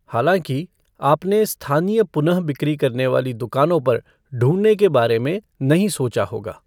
हालाँकि, आपने स्थानीय पुनः बिक्री करने वाली दुकानों पर ढूँढने के बारे में नहीं सोचा होगा।